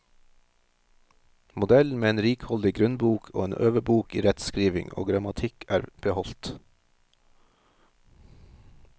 Modellen med en rikholdig grunnbok og en øvebok i rettskriving og grammatikk er beholdt.